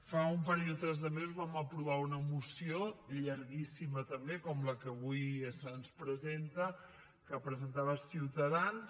fa un parell o tres de mesos vam aprovar una moció llarguíssima també com la que avui se’ns presenta que presentava ciutadans